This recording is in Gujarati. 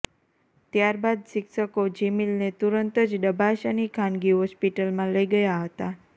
ત્યાર બાદ શિક્ષકો જીમીલને તુરંત જ ડભાસાની ખાનગી હોસ્પિટલમાં લઇ ગયા હતા